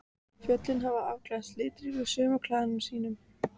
Fjöllin hafa afklæðst litríkum sumarklæðum sínum.